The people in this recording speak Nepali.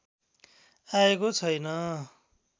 आएको छैन